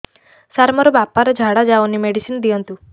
ସାର ମୋର ବାପା ର ଝାଡା ଯାଉନି ମେଡିସିନ ଦିଅନ୍ତୁ